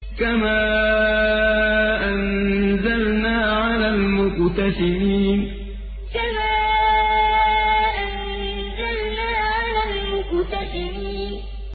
كَمَا أَنزَلْنَا عَلَى الْمُقْتَسِمِينَ كَمَا أَنزَلْنَا عَلَى الْمُقْتَسِمِينَ